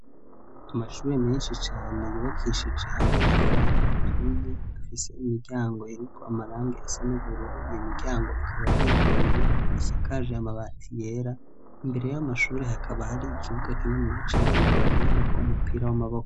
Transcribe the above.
Amashuri menshi cane yubakishije amatafari aturiye, afise imiryango iriko amarangi asa n'ubururu. Iyo miryango ikaba yuguruye. Asakaje amabati yera. Imbere y'amashuri, hakaba har'ikibuga kininiya cane bakiraniko umupira w'amaboko.